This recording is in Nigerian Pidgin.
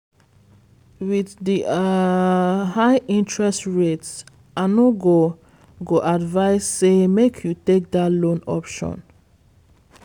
with di um high interest rates i no go go advise say make you take that loan option